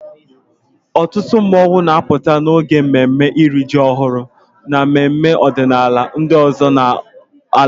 Ọtụtụ mmọnwụ na-apụta n'oge mmemme iri ji ọhụrụ na mmemme ọdịnala ndị ọzọ n'ala Igbo.